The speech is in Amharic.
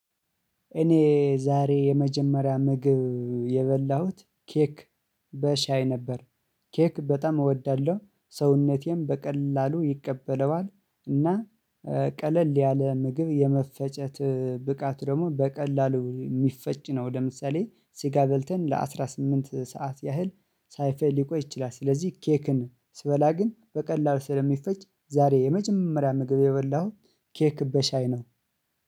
እኔ ዛሬ የመጀመሪያ ምግብ የበላሁት ኬክ በሻይ ነበር። ኬክ በጣም እወዳለሁ ሰውነቴም በቀላሉ ይቀበለዋል። እና ቀለል ያለ ምግብ የመፈጨት ብቃት ደግሞ በቀላሉ የሚፈጭ ነው። ለምሳሌ ስጋ በልተን ለአሥራ ስምንት ሰዓት ያህል ሳይፈጭ ሊቆይ ይችላል። ስለዚህ ኬክን ስበላ ግን በቀላሉ ስለሚፈጭ ዛሬ የመጀመሪያ ምግብ የበላሁኝ ኬክ በሻይ ነው